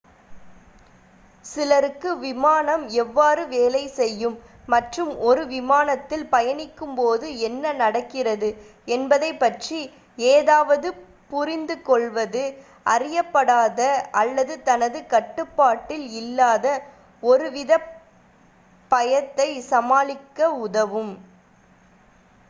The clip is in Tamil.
சிலருக்கு விமானம் எவ்வாறு வேலை செய்யும் மற்றும் ஒரு விமானத்தில் பயணிக்கும் போது என்ன நடக்கிறது என்பதைப் பற்றி ஏதாவது புரிந்து கொள்வது அறியப்படாத அல்லது தனது கட்டுப்பாட்டில் இல்லாத ஒருவித பயத்தை சமாளிக்க உதவும்